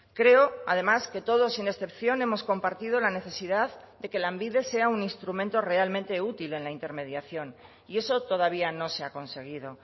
creo además que todos sin excepción hemos compartido la necesidad de que lanbide sea un instrumento realmente útil en la intermediación y eso todavía no se ha conseguido